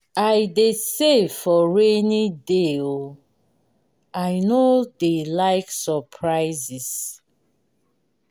i dey save for rainy day o i no dey like surprises.